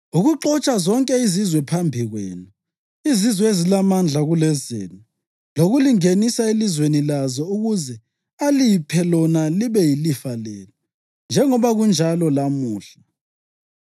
ukuxotsha zonke izizwe phambi kwenu, izizwe ezilamandla kulezenu lokulingenisa elizweni lazo ukuze aliphe lona libe yilifa lenu, njengoba kunjalo lamuhla.